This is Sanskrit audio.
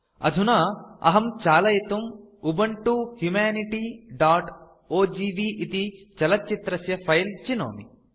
अधुना अहं चालयितुम् उबुन्तु humanityओजीवी इति चलच्चित्रस्य फिले चिनोमि